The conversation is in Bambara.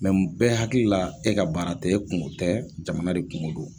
n bɛɛ hakili la e ka baara tɛ e kungo tɛ jamana de kungo don.